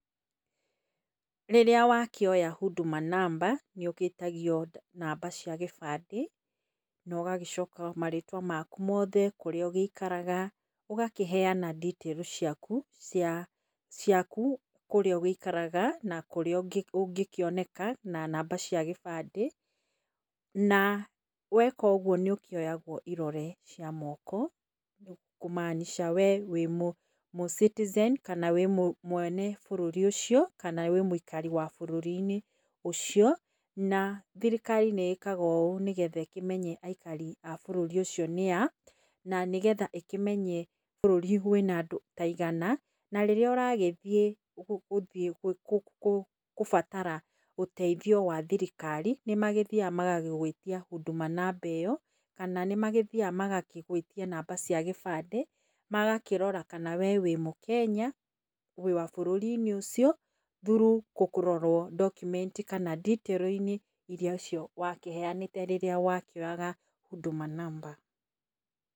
Rĩrĩa wakĩoya huduma namba, nĩ ũgĩtagio namba cia gĩbandĩ na ũgagĩcoka marĩtwa maku mothe, kũrĩa ũgĩikaraga ũgakĩheana details ciaku cia, ciaku, kũrĩa ũgĩikaraga, nĩ kũrĩa ũngĩkĩoneka, na namba cia gĩbandĩ na, weka ũguo nĩ ũkĩoyagwa irore cia moko kũ maanisha we wĩ mũ, mũ citizen, kana wĩ mwene bũrũri ũcio, kana wĩ mwĩikari wa bũrũri-inĩ ũcio. Na, thirikari nĩ ĩkaga ũũ nĩgetha ĩkĩmenye aikari a bũrũri ũcio nĩa, na nĩgetha ĩkĩmenye bũrũri wĩna andũ taigana, na rĩrĩa ũragĩthiĩ gũbatara ũteithio wa thirikari, nĩmagĩthiaga magagwĩtia huduma namba ĩyo, kana nĩmagĩthiaga magagwĩtia namba cia gĩbandĩ magakĩrora kana we wĩ mũkenya, wĩ wa bũrũri -inĩ ũcio through kũrorwo document inĩ kana nditĩrũ-inĩ irĩa wakĩheanĩte rĩrĩa wokĩoyaga huduma namba.